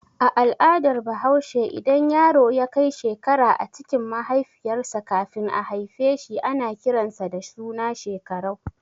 A al'adar bahaushe idan yaro yakai shekara a cikin mahaifiyar sa kafin a haifeshi ana kiran sa da suna Shekarau.